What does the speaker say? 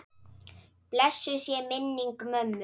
Blessuð sé minning mömmu.